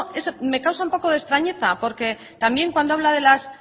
me causa un poco de extrañeza porque también cuando habla de las